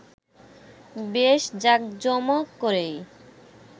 বেশ জাকজমক করেই